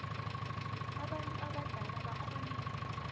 abantu abadala bakghone